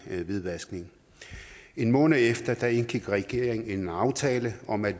med hvidvaskning en måned efter indgik regeringen en aftale om at